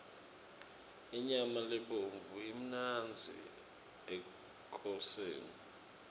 inyama lebovu imnandzi ekoseni